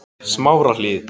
Smárahlíð